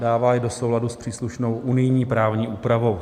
Dává je do souladu s příslušnou unijní právní úpravou.